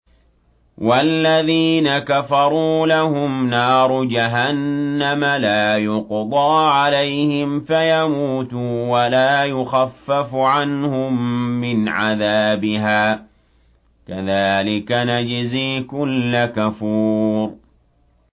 وَالَّذِينَ كَفَرُوا لَهُمْ نَارُ جَهَنَّمَ لَا يُقْضَىٰ عَلَيْهِمْ فَيَمُوتُوا وَلَا يُخَفَّفُ عَنْهُم مِّنْ عَذَابِهَا ۚ كَذَٰلِكَ نَجْزِي كُلَّ كَفُورٍ